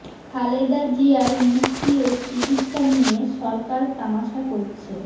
খালেদা জিয়ার মুক্তি ও চিকিৎসা নিয়ে সরকার তামাশা করছে